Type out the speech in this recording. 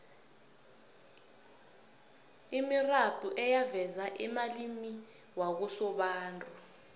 imirabhu eyaveza amalimi wakosobantu